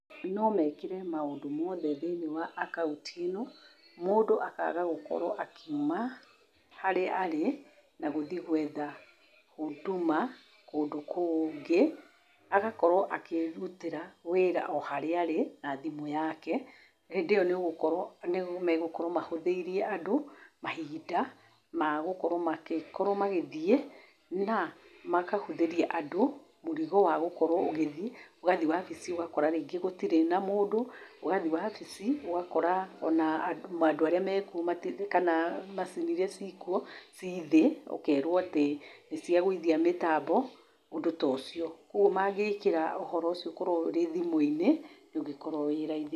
No meekĩre maũndũ mothe thĩinĩ wa akaunti ĩno, mũndũ akaaga gũkorwo akiuma harĩa arĩ na gũthiĩ gũetha huduma kũndũ kũngĩ. Agakorwo akĩĩrutĩra wĩra o harĩa arĩ na thimũ yake. Hĩndĩ ĩyo nĩ ũgũkorwo, nĩ megũkorwo mahũthĩire andũ mahinda ma gũkorwo magĩthiĩ na makahũthĩria andũ mũrigo wa gũkorwo ũgĩthiĩ, ũgathiĩ wabici ũgakora rĩngĩ gũtirĩ na mũndũ, ũgathi wabici ũgakora o na andũ arĩa mekuo mati- kana macini iria ciĩkuo ci thĩ, ũkeerwo atĩ nĩciagũithia mĩtambo, ũndũ ta ũcio. Kwoguo mangĩĩkĩra ũhoro ũcio ũkorwo ũrĩ thimũ-inĩ ũngĩkorwo wĩ raithi.